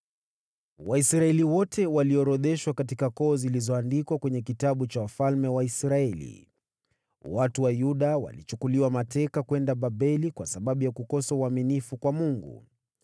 Waisraeli wote waliorodheshwa katika koo zilizoandikwa kwenye kitabu cha wafalme wa Israeli. Watu Katika Yerusalemu Watu wa Yuda walichukuliwa mateka kwenda Babeli kwa sababu ya kukosa uaminifu kwa Mungu.